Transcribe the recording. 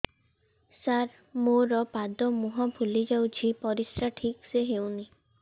ସାର ମୋରୋ ପାଦ ମୁହଁ ଫୁଲିଯାଉଛି ପରିଶ୍ରା ଠିକ ସେ ହଉନି